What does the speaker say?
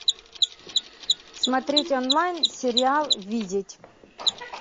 смотреть онлайн сериал видеть